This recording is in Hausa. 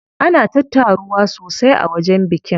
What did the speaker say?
Ana ta taruwa sosai a wajen bikin.